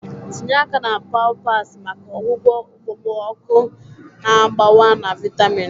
Tinye aka na pawpaws maka ọgwụgwọ okpomọkụ na-agbawa na vitamin.